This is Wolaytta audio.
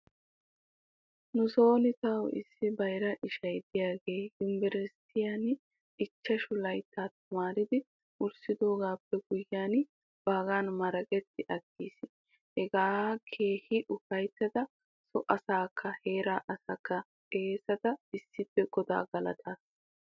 Nuso tawu issi bayra isha diyaagee yumbburshshiyan ichchashu layttaa tamaaridi wurssidoogaappe guyye baggan maraqetti aggis. Hegan keehi ufayttida so asaykka heeraa asaa xeesidi issippe godaa galattidosona.